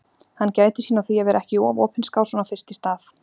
Hann gætir sín á því að vera ekki of opinskár svona fyrst í stað.